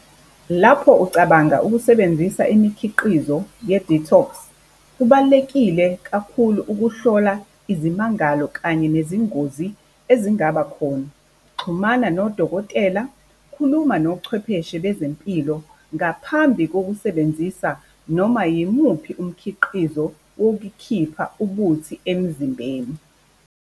Lapho ucabanga ukusebenzisa imikhiqizo ye-detox? kubalulekile kakhulu ukuhlola izimangalo kanye nezingozi ezingaba khona. Xhumana nodokotela, khuluma nochwepheshe bezempilo, ngaphambi kokusebenzisa noma yimuphi umkhiqizo wokukhipha ubuthi emzimbeni.